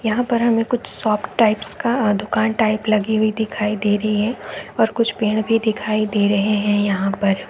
यहाँ हमें एक कुछ शॉप्स टाइप का दुकान टाइप लगी हुई दिखाई दे रही है और कुछ पेड़ भी दिखाई दे रहे हैं यहाँ पर--